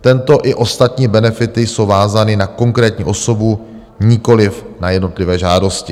Tento i ostatní benefity jsou vázány na konkrétní osobu, nikoliv na jednotlivé žádosti.